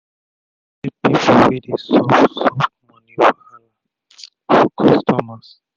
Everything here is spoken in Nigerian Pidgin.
den get pipu wey dey solve solve moni wahala for customers